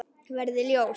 Verði ljós.